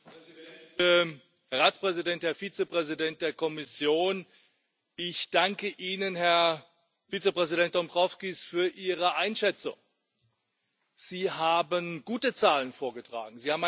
Herr Präsident, Herr Ratspräsident, Herr Vizepräsident der Kommission! Ich danke Ihnen, Herr Vizepräsident Dombrovskis, für Ihre Einschätzung. Sie haben gute Zahlen vorgetragen.